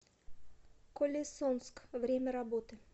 колесонск время работы